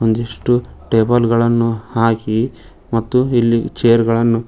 ಒಂದಿಷ್ಟು ಟೇಬಲ್ ಗಳನ್ನು ಹಾಕಿ ಮತ್ತು ಇಲ್ಲಿ ಚೇರ್ ಗಳನ್ನು--